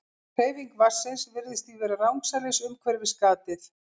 Hreyfing vatnsins virðist því vera rangsælis umhverfis gatið.